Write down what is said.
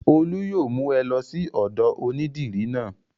Olú yóò mú ẹ lọ sí ọ̀dọ̀ onídìrí náà.